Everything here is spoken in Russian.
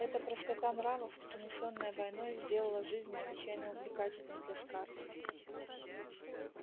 эта простота нравов принесённая войной сделала жизнь необычайно увлекательной для скарлетт